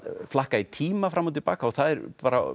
flakka í tíma fram og til baka og það er